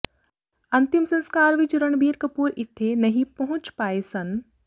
ਅੰਤਿਮ ਸਸਕਾਰ ਵਿੱਚ ਰਣਬੀਰ ਕਪੂਰ ਇੱਥੇ ਨਹੀਂ ਪਹੁੰਚ ਪਾਏ ਸਨ